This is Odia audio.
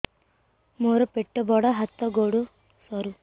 ମୋର ପେଟ ବଡ ହାତ ଗୋଡ ସରୁ